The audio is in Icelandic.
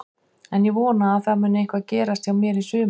En ég vona að það muni eitthvað gerast hjá mér í sumar.